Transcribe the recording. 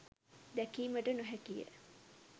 දැකීමට නොහැකි ය